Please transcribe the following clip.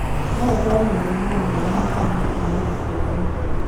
No ũkorwo na mũrimũ wa maĩ hakiri-inĩ kuma gũciarwo.